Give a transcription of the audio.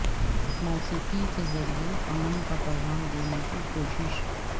موسیقی کے ذریعے امن کا پیغام دینے کی کوشش